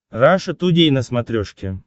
раша тудей на смотрешке